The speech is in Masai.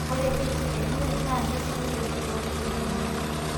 Ore Keki enye naa keisidai oleng too lukunkuni.